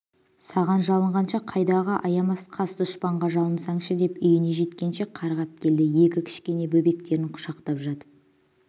саған жалынғанша қайдағы аямас қас-дұшпанға жалынсаңшы деп үйіне жеткенше қарғап келді екі кішкене бөбектерін құшақтап жатып